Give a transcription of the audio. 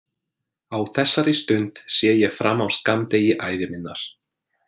Á þessari stund sé ég fram á skammdegi ævi minnar.